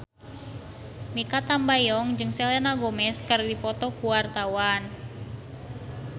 Mikha Tambayong jeung Selena Gomez keur dipoto ku wartawan